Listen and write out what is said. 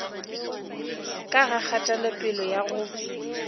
ka ga kgatelopele ya go